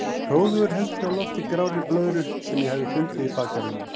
Hróðugur held ég á lofti grárri blöðru sem ég hafði fundið í bakgarðinum.